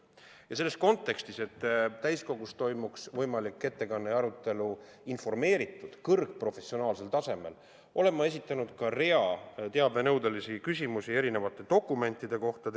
Ja selleks, et täiskogus tehtaks see ettekanne ja toimuks arutelu informeeritud, kõrgprofessionaalsel tasemel, olen ma esitanud terviseministrile rea teabenõudelisi küsimusi erinevate dokumentide kohta.